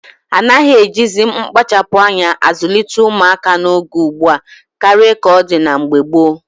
A naghị ejizi mkpachapụ́ anya azụlite ụmụaka n'oge ugbua karịa ka ọ dị na mgbe gboo